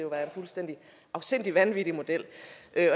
være en fuldstændig afsindig vanvittig model